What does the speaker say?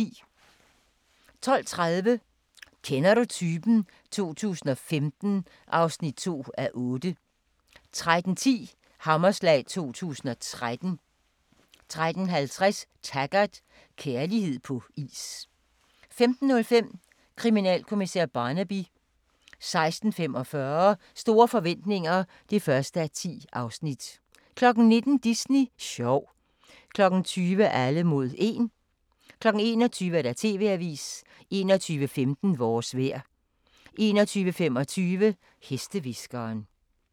12:30: Kender du typen? 2015 (2:8) 13:10: Hammerslag 2013 13:50: Taggart: Kærlighed på is 15:05: Kriminalkommissær Barnaby 16:45: Store forretninger (1:10) 19:00: Disney sjov 20:00: Alle mod 1 21:00: TV-avisen 21:15: Vores vejr 21:25: Hestehviskeren